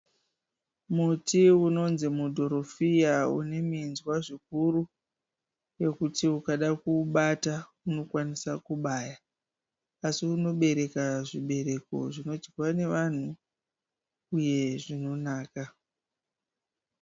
Muti unonzi mudhorofiya uneminzwa zvikuru yekuti ukadakuubata unokwanisa kubaya asi unobereka zvibereko zvinodyiwa nevanhu uye zvinonaka